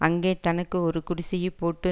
அங்கே தனக்கு ஒரு குடிசையைப் போட்டு